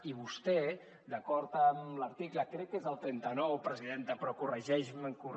i vostè d’acord amb l’article crec que és el trenta nou presidenta però corregeixi’m